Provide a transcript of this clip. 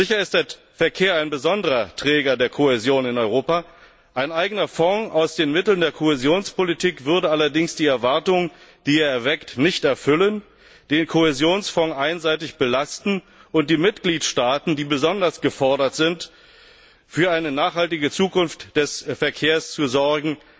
Sicher ist der Verkehr ein besonderer Träger der Kohäsion in Europa, ein eigener Fonds aus den Mitteln der Kohäsionspolitik würde allerdings die Erwartung, die er weckt, nicht erfüllen, den Kohäsionsfonds einseitig belasten und die Mitgliedstaaten, die besonders gefordert sind, für eine nachhaltige Zukunft des Verkehrs zu sorgen,